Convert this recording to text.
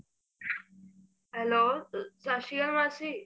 hello Sat Sri Akal ਮਾਸੀ